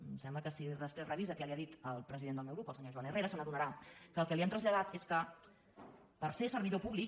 em sembla que si després revisa què li ha dit el president del meu grup el senyor joan herrera se n’adonarà que el que li hem traslladat és que per ser servidor públic